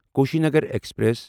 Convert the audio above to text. Kushinagar express